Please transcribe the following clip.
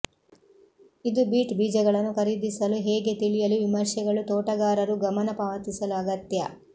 ಇದು ಬೀಟ್ ಬೀಜಗಳನ್ನು ಖರೀದಿಸಲು ಹೇಗೆ ತಿಳಿಯಲು ವಿಮರ್ಶೆಗಳು ತೋಟಗಾರರು ಗಮನ ಪಾವತಿಸಲು ಅಗತ್ಯ